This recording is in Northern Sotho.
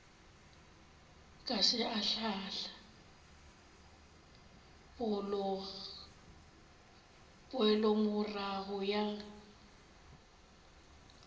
ka se ahlaahle poelomorago ya